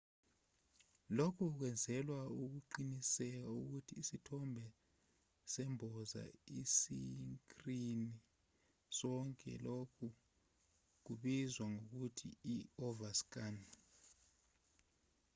lokhu kwenzelwa ukuqinisekisa ukuthi isithombe semboza isikrini sonke lokhu kubizwa ngokuthi i-overscan